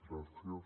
gràcies